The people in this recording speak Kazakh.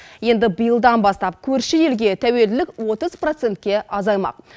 енді биылдан бастап көрші елге тәуелділік отыз процентке азаймақ